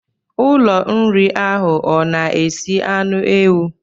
Ụlọ nri ahụ ọ na-esi anụ ewu?